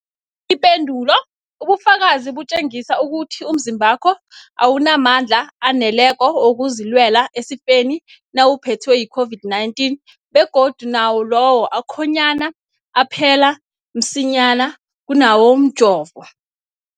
Ipendulo, ubufakazi butjengisa ukuthi umzimbakho awunamandla aneleko wokuzilwela esifeni nawuphethwe yi-COVID-19, begodu nawo lawo akhonyana aphela msinyana kunawomjovo.